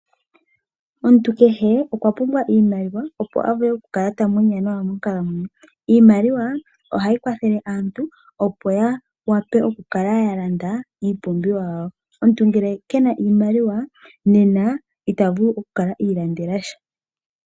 Omuntu kehe okwa pumbwa iimaliwa opo a vule oku kala ta munya nawa monkalamwenyo. Iimaliwa ohayi kwathele aantu opo ya vule oku kala ya landa iipumbiwa yawo. Omuntu ngele ke na iimaliwa, ita vulu oku kala iilandela sha.